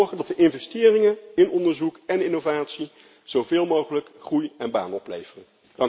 Laten we zorgen dat de investeringen in onderzoek en innovatie zoveel mogelijk groei en banen opleveren.